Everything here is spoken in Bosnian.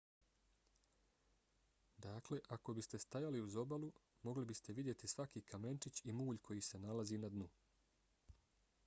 dakle ako biste stajali uz obalu mogli biste vidjeti svaki kamenčić i mulj koji se nalazi na dnu